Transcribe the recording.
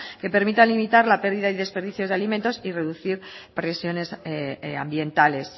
que permita limitar la pérdida y desperdicio de alimentos y reducir presiones ambientales